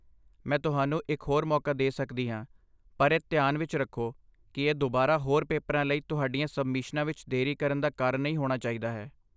ਮੈਂ ਤੁਹਾਨੂੰ ਇੱਕ ਹੋਰ ਮੌਕਾ ਦੇ ਸਕਦੀ ਹਾਂ, ਪਰ ਇਹ ਧਿਆਨ ਵਿੱਚ ਰੱਖੋ ਕਿ ਇਹ ਦੁਬਾਰਾ ਹੋਰ ਪੇਪਰਾਂ ਲਈ ਤੁਹਾਡੀਆਂ ਸਬਮਿਸ਼ਨਾਂ ਵਿੱਚ ਦੇਰੀ ਕਰਨ ਦਾ ਕਾਰਨ ਨਹੀਂ ਹੋਣਾ ਚਾਹੀਦਾ ਹੈ।